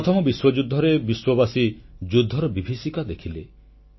ପ୍ରଥମ ବିଶ୍ୱଯୁଦ୍ଧରେ ବିଶ୍ୱବାସୀ ଯୁଦ୍ଧର ବିଭୀଷିକା ଦେଖିଲେ